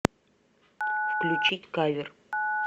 включить кавер